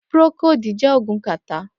Prókódi jè ógún kàtá